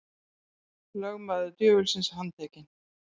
Lögmaður djöfulsins handtekinn